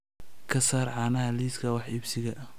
ka saar caanaha liiska wax iibsiga